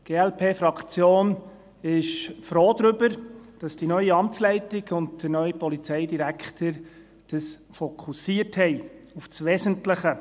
Die Glp-Fraktion ist froh darüber, dass die neue Amtsleitung und der neue Polizeidirektor auf das Wesentliche fokussiert haben.